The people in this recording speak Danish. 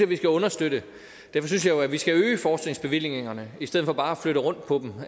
vi skal understøtte derfor synes jeg jo at vi skal øge forskningsbevillingerne i stedet for bare at flytte rundt på dem